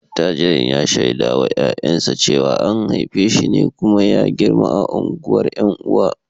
Attajirin ya shaida wa ’ya’yansa cewa an haife shi ne kuma ya girma a unguwar ’yan uwa